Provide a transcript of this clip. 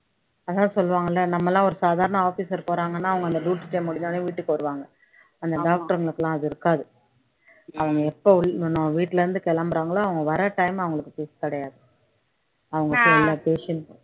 அதான் சொல்லுவாங்கல்ல நம்ம எல்லாம் ஒரு சாதாரண officer போறாங்க அந்த duty time முடிஞ்ச உடனே வீட்டுக்கு வருவாங்க அந்த doctor ங்களுக்கெல்லாம் அது இருக்காது அவங்க எப்ப நம்ம வீட்டுல இருந்து கிளம்பறாங்களோ அவங்க வர time அவங்களுக்கு கிடையாது அவங்க எல்லா patient